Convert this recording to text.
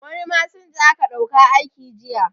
Wani masinja aka dauka aiki jiya